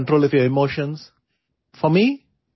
آپ جذباتی فیصلہ نہیں لیتے؛ آپ اپنے جذبات پر قابو رکھتے ہیں